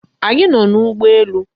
Anyị nọ n'ụgbọ elu.